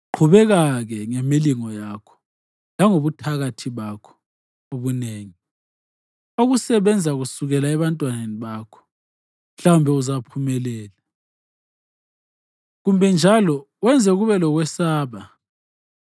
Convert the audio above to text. Qhubeka-ke ngemilingo yakho, langobuthakathi bakho obunengi okusebenza kusukela ebantwaneni bakho. Mhlawumbe uzaphumelela, kumbe njalo wenze kube lokwesaba.